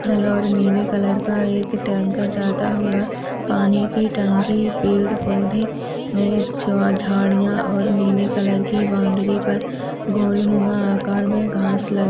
हरा और नीले कलर का एक टैंकर जाता हुआ पानी की टंकी पेड़ पौधे झाड़ियां और नीले कलर की बाउन्ड्री पर गोलनुमा आकार में घास लगी --